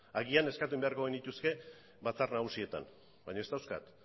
agian eskatu egin beharko genituzke batzar nagusietan baina ez dauzkat